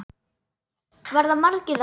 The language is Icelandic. Verða margir þarna?